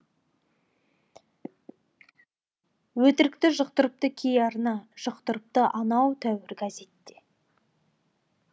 өтірікті жұқтыртыпты кей арна жұқтыртыпты анау тәуір газет те